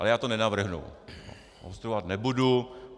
Ale já to nenavrhnu, obstruovat nebudu.